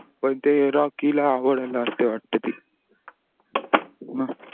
पण ते रॉकी ल आवडले असते वाटते ती